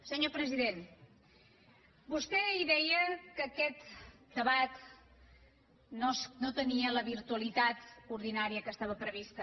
senyor president vostè ahir deia que aquest debat no tenia la virtualitat ordinària que estava prevista